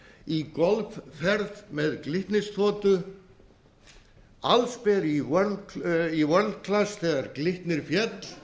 í golfferð með glitnisþotu allsber í world class þegar glitnir féll